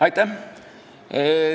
Aitäh!